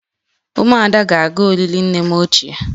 Umuada ga-aga olili nne m ochie